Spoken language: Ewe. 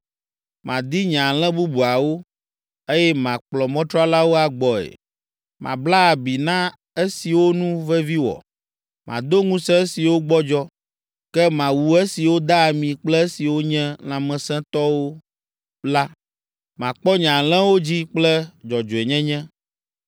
Madi nye alẽ bubuawo, eye makplɔ mɔtralawo agbɔe. Mabla abi na esiwo nu vevi wɔ, mado ŋusẽ esiwo gbɔdzɔ, ke mawu esiwo da ami kple esiwo nye lãmesẽtɔwo la. Makpɔ nye alẽawo dzi kple dzɔdzɔenyenye.